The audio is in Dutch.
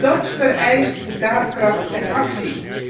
Dat vereist daadkracht en actie.